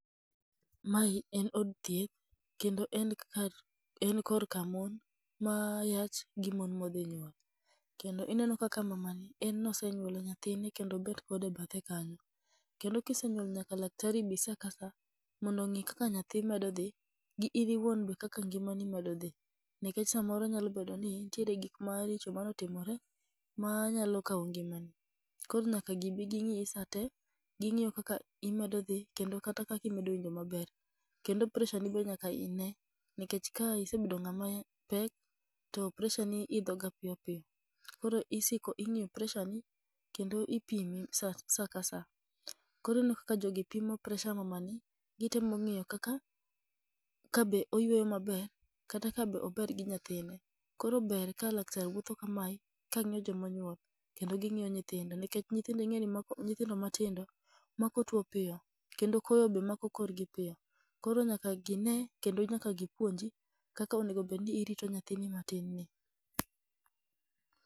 Mae en od thieth kendo en kar en korka mon ma yach gi mon modhi nyuol. Kendo ineno kaka mamani en nosenyuolo nyathine kendo obet kode e bathe kanyo. Kendo kisenyuol nyaka daktari bi sa ka sa, mondo ong'i kaka nyathi medo dhi, gi in iwuon be kaka ngimani medo dhi. Nikech samoro nyalo bedo ni nitiere gik maricho ma nyalo kawo ngima ni, koro nyaka gibi ging'iyi sate, ging'iyo kaka imedo dhi kendo kata kaka imedo winjo maber. Kendo pressure ni be nyaka i ne, nikech ka isebedo ng'ama pek, to pressure ni idho ga piyo. Koro isiko ing'iyo pressure ni kendo ipimi sa ka sa. Koro ineno kaka jogi pimo pressure mamani, gitemo ng'iyo kaka kabe oyweyo maber kata ka be ober gi nyathine. Koro ber ka laktar wuotho kamae ka ng'iyo jomonyuol, kendo ging'iyo nyithindo. Nikech nyithindo ing'e ni mako nithindo matindo mako tuo piyo kendo koyo be mako korgi piyo. Koro nyaka gine kendo nyaka gipuonji kaka onegobedni irito nyathini matin ni.